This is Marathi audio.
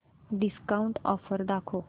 डिस्काऊंट ऑफर दाखव